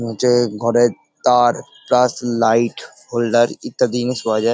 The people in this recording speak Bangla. নীচে ঘরে তার প্লাস লাইট হোল্ডার ইত্যাদি জিনিস পাওয়া যায় ।